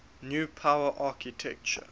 new power architecture